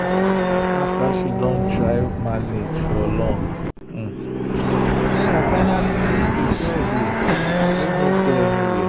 after she don try manage for long sarah finally leave the job wey no go anywhere.